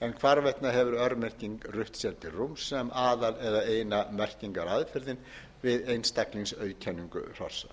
en hvarvetna hefur örmerking rutt sér til rúms sem aðal eða eina merkingaaðferðin við einstaklingsauðkenningu hrossa